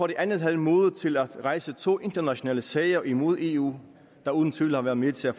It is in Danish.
det andet havde modet til at rejse to internationale sager imod eu der uden tvivl har været med til at